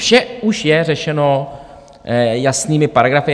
Vše už je řešeno jasnými paragrafy.